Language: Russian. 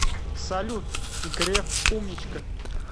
салют греф умничка